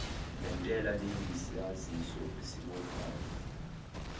lentela liyisaziso esibophayo